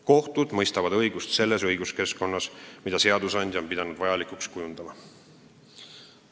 Kohtud mõistavad õigust selles õiguskeskkonnas, mida seadusandja on pidanud vajalikuks kujundada.